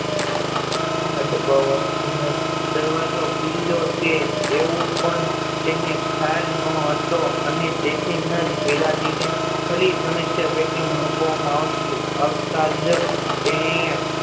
દાબવાથી ન જ દરવાજો ખુલ્યો છે તેવું પણ તેને ખ્યાલ નો હતો અને તેથી ન જ બીજા દિવસે ફરી સમસ્યા પેટી મૂક વામાં આવતી આવતાજ